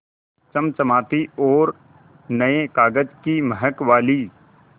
चमचमाती और नये कागज़ की महक वाली